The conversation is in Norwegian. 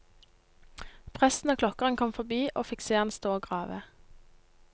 Presten og klokkeren kom forbi og fikk se han stå å grave.